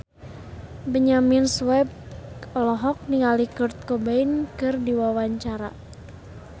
Benyamin Sueb olohok ningali Kurt Cobain keur diwawancara